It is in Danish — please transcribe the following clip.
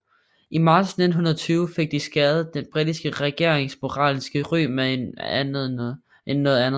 I marts 1920 fik de skadet den britiske regerings moralske ry mere end noget andet